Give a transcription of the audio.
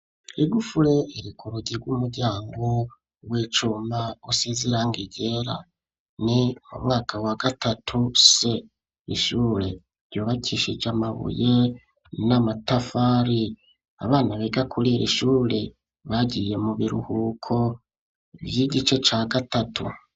Igufure irika urugirw' umuryango wecumba usizerango igera ni mu mwaka wa gatatu se ishure ryubakishije amabuye n'amatafari abana bega kurira ishure bagiye mubiruhuko vyo igice ca gatatu.